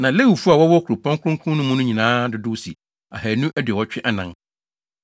Na Lewifo a wɔwɔ kuropɔn kronkron no mu no nyinaa dodow si ahannu aduɔwɔtwe anan (284).